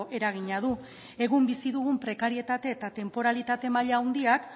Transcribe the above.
eragina du egun bizi dugun prekarietate eta tenporalitate maila handiak